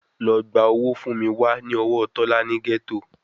Lọ gba owó fún mi wá ní ọwọ́ Tọ́lá ní gẹ́tò